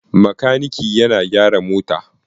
Makaniki yana gyaran mota.